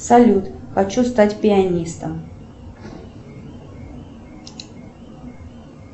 салют хочу стать пианистом